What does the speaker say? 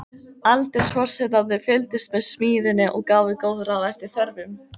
Aldursforsetarnir fylgdust með smíðinni og gáfu góð ráð eftir þörfum.